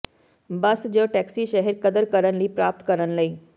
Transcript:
ਬੱਸ ਜ ਟੈਕਸੀ ਸ਼ਹਿਰ ਕਦਰ ਕਰਨ ਲਈ ਪ੍ਰਾਪਤ ਕਰਨ ਲਈ